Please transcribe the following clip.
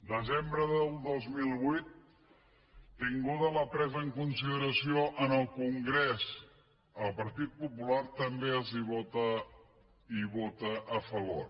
desembre del dos mil vuit tinguda la presa en consideració al congrés el partit popular també hi vota a favor